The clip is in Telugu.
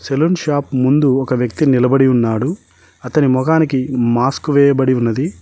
సెలూన్ షాప్ ముందు ఒక వ్యక్తి నిలబడి ఉన్నాడు అతని మొఖానికి మాస్క్ వేయబడి ఉన్నది.